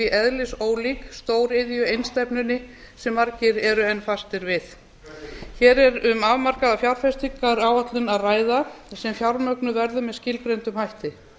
eðlisólík stóriðjueinstefnunni sem margir eru enn fastir við hér er um afmarkaða fjárfestingaráætlun að ræða sem fjármögnuð verður með skilgreindum hætti